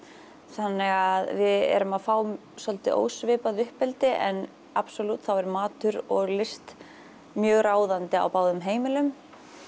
þannig að við erum að fá svolítið ósvipað uppeldi en absalútt þá er matur og list mjög ráðandi á báðum heimilum